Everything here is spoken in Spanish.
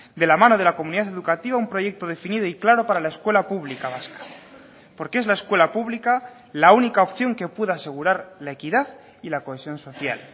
de la mano de la comunidad educativa un proyecto definido y claro para la escuela pública vasca porque es la escuela pública la única opción que puede asegurar la equidad y la cohesión social